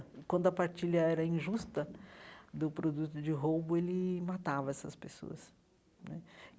Quando a partilha era injusta, do produto de roubo, ele matava essas pessoas né.